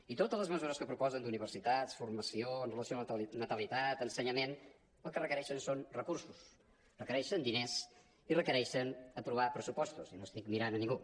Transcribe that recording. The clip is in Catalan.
i totes les mesures que proposen d’universitats formació amb relació a natali·tat ensenyament el que requereixen són recursos requereixen diners i requereixen aprovar pressupostos i no estic mirant a ningú